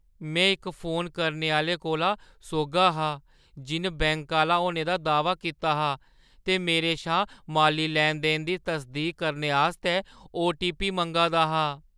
में इक फोन करने आह्‌ले कोला सोह्‌ग्गा हा जिन बैंक आह्‌ला होने दा दाह्‌वा कीता हा ते मेरे शा माली लैन-देन दी तसदीक करने आस्तै ओ. टी. पी. मंगा दा हा।